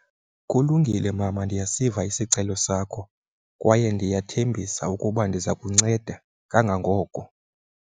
Kulungile mama ndiyasiva isicelo sakho, kwaye ndiyathembisa ukuba ndiza kunceda kangangoko.